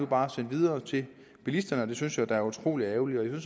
bare sendt videre til bilisterne og det synes jeg er utrolig ærgerligt jeg